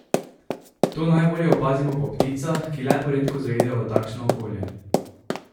To najbolje opazimo po pticah, ki le poredko zaidejo v takšno okolje.